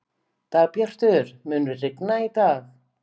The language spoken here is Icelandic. Dagbjartur, mun rigna í dag?